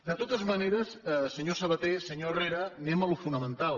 de totes maneres senyor sabaté senyor herrera anem a allò fonamental